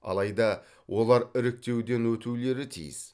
алайда олар іріктеуден өтулері тиіс